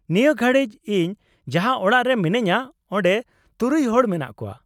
-ᱱᱤᱭᱟᱹ ᱜᱷᱟᱲᱤᱡ ᱤᱧ ᱡᱟᱦᱟᱸ ᱚᱲᱟᱜ ᱨᱮ ᱢᱤᱱᱟᱹᱧᱟᱹ ᱚᱸᱰᱮ ᱖ ᱦᱚᱲ ᱢᱮᱱᱟᱜ ᱠᱚᱣᱟ ᱾